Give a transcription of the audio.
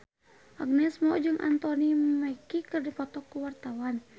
Agnes Mo jeung Anthony Mackie keur dipoto ku wartawan